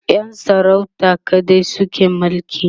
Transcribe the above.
Yan sarauta kaɗai suke mulki